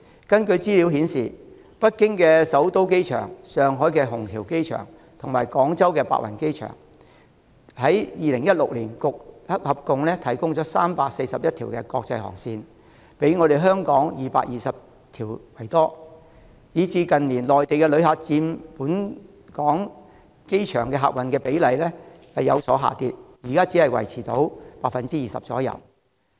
根據資料顯示，北京首都國際機場、上海虹橋國際機場及廣州白雲國際機場，於2016年合共提供341條國際航線，比香港的220條為多，以致近年內地旅客佔本港機場的客運量比例有所下跌，現在只維持在 20% 左右。